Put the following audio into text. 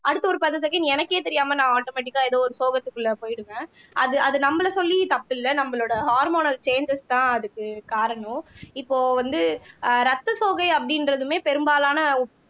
அடுத்த ஒரு பத்து செகண்ட் எனக்கே தெரியாம நான் ஆட்டோமேட்டிக்கா ஏதோ ஒரு சோகத்துக்குள்ள போயிடுவேன் அது அது நம்மளை சொல்லியும் தப்பு இல்லை நம்மளோட ஹோர்மோனல் சேஞ்சஸ் தான் அதுக்கு காரணம் இப்போ வந்து ஆஹ் ரத்த சோகை அப்படின்றதுமே பெரும்பாலான